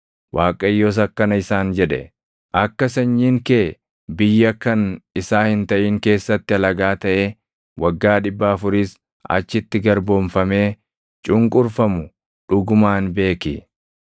Waaqayyos akkana isaan jedhe; “Akka sanyiin kee biyya kan isaa hin taʼin keessatti alagaa taʼee waggaa dhibba afuris achitti garboomfamee cunqurfamu dhugumaan beeki.